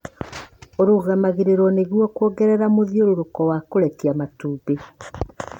ũrũgamagĩrĩrũo nĩguo kuongerera mũthiũrũrũko wa kũrekia matumbĩ.